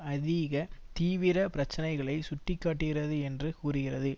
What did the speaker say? அதிக தீவிர பிரச்சினைகளை சுட்டி காட்டுகிறது என்று கூறுகிறது